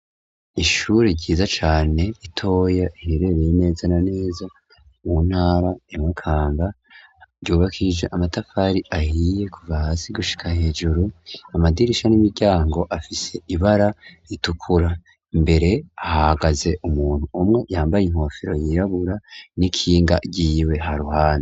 Ishuri ryiza cane itoya ihirereye ineza naneza mu ntara imukanba ryubakije amatafari ahiye kuva hasi gushika hejuru amadirisha n'imiryango afise ibara ritukura mbere ahagaze umuntu umwe yambaye inkofero yirabura n'ikinga ryiwe ha ruhande.